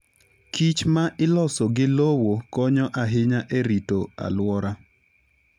kich ma iloso gi lowo konyo ahinya e rito alwora.